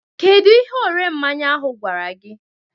Kedụ ihe ore mmanya ahụ gwara gị?